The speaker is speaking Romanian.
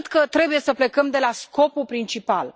Eu cred că trebuie să plecăm de la scopul principal.